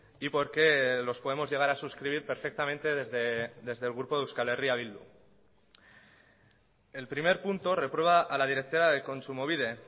y por qué los podemos llegar a suscribir perfectamente desde el grupo de euskal herria bildu el primer punto reprueba a la directora de kontsumobide